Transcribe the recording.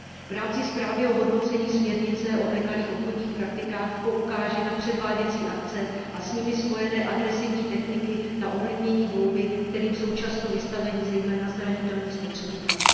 V rámci zprávy o hodnocení směrnice o nekalých obchodních praktikách poukáži na předváděcí akce a s nimi spojené agresivní techniky na ovlinění volby, kterým jsou často vystaveni zejména zranitelní spotřebitelé.